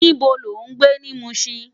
Nibó ló n gbé ni Mushin?